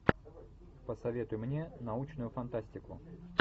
посоветуй мне научную фантастику